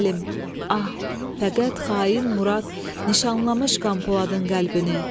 Ah, fəqət xain Murad nişanlamış Qanpoladın qəlbini.